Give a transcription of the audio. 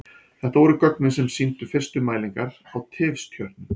Þetta voru gögnin sem sýndu fyrstu mælingar á tifstjörnum.